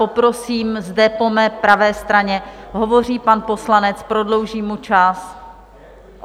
Poprosím zde po mé pravé straně, hovoří pan poslanec, prodloužím mu čas.